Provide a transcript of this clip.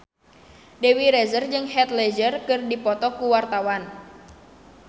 Dewi Rezer jeung Heath Ledger keur dipoto ku wartawan